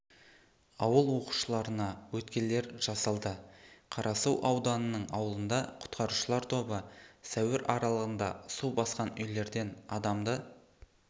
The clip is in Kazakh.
ауыл оқушыларына өткелдер жасалды қарасу ауданының ауылында құтқарушылар тобы сәуір аралығында су басқан үйлерден адамды